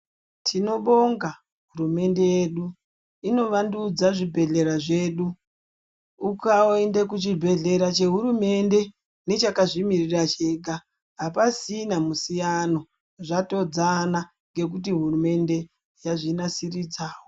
Timobonga hurumende yedu inovandudza zvebhehlera zvedu. Ukaenda kuchibhehlera chehurumende nechakazvimiririra chega apasisina musiyana, zvatodzana ngekuti hurumende yasvinasiridzawo.